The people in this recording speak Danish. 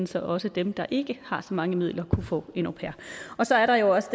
så også dem der ikke har så mange midler kunne få en au pair så er der også